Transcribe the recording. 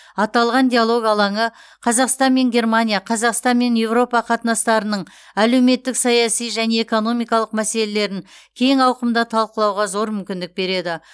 аталған диалог алаңы қазақстан мен германия қазақстан мен еуропа қатынастарының әлеуметтік саяси және экономикалық мәселелерін кең ауқымда талқылауға зор мүмкіндік береді